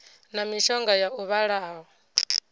na mishonga ya u vhulaha